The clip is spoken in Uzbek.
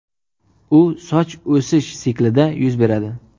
U soch o‘sish siklida yuz beradi.